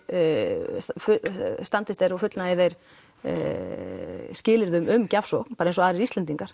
og standist þeir og fullnægi þeir skilyrðum um gjafsókn bara eins og aðrir Íslendingar